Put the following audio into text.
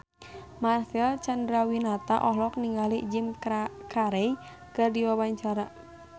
Marcel Chandrawinata olohok ningali Jim Carey keur diwawancara